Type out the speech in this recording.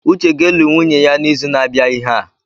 Uche ga-eli nwunye ya n’izu na-abịa ihe a